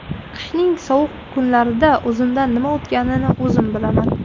Qishning sovuq kunlarida o‘zimdan nima o‘tganini o‘zim bilaman.